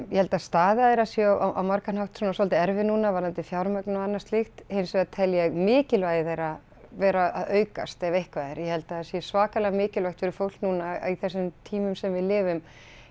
ég held að staða þeirra sé á margan hátt svona svolítið erfið núna varðandi fjármögnun og annað slíkt hins vegar tel ég mikilvægi þeirra vera að aukast ef eitthvað er ég held að það sé svakalega mikilvægt fyrir fólk núna á þessum tímum sem við lifum